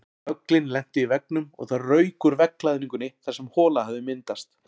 Höglin lentu í veggnum og það rauk úr veggklæðningunni þar sem hola hafði myndast.